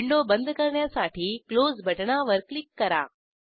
window बंद करण्यासाठी close बटणावर क्लिक करा